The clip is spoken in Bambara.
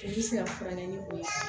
U bɛ se ka furakɛ ni bon ye